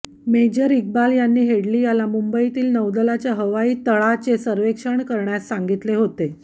major Iqbal यांनी Headley याला मुंबईतील नौदलाच्या हवाई तळाचे सर्वेक्षण करण्यास सांगितले होते